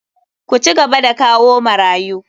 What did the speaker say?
Ku cigaba da kawo marayu!